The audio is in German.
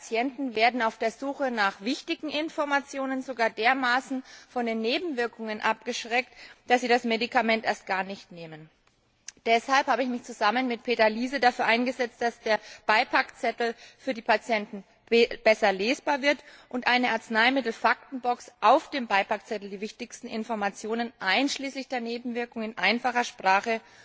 Einige Patienten werden auf der Suche nach wichtigen Informationen sogar dermaßen von den Nebenwirkungen abgeschreckt, dass sie das Medikament erst gar nicht nehmen. Deshalb habe ich mich zusammen mit Peter Liese dafür eingesetzt, dass der Beipackzettel für die Patienten besser lesbar wird und eine Arzneimittel Faktenbox auf dem Beipackzettel die wichtigsten Informationen einschließlich der Nebenwirkungen in einfacher Sprache